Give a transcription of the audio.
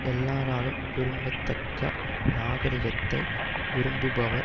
எல்லாராலும் விரும்பத்தக்க நாகரிகத்தை விரும்புபவர்